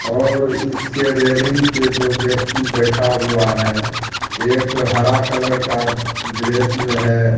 और इसके रेलिंग पे दो व्यक्ति बैठा हुआ है एक हरा कलर का ड्रेस में है।